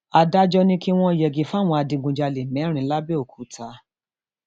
adájọ ni kí wọn yẹgi fáwọn adigunjalè mẹrin làbẹọkúta